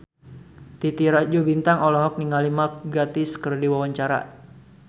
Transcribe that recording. Titi Rajo Bintang olohok ningali Mark Gatiss keur diwawancara